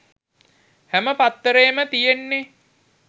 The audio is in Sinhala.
හැම පත්තරේම තියෙන්නෙ